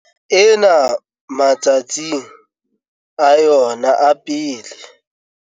ena ma tsatsing a yona a pele.